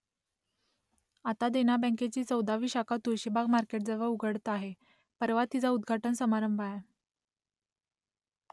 आता देना बँकेची चौदावी शाखा तुळशीबाग मार्केटजवळ उघडत आहे , परवा तिचा उद्घाटन समारंभ आहे